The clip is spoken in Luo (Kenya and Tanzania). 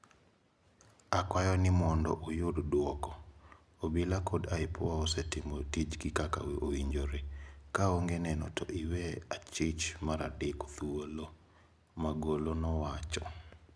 "Akwayo ni mondo uyud duoko. Obila kod IPOA okosetimo tijgi kaka owinjore. Kaonge neno to iwe achich maradek thuolo." Magolo nwacho.